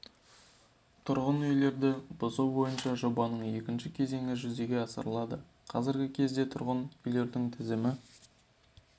тұрғын үйлерді бұзу бойынша жобаның екінші кезеңі жүзеге асырылады қазіргі кезде тұрғын үйлердің тізімі